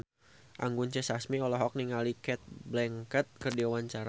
Anggun C. Sasmi olohok ningali Cate Blanchett keur diwawancara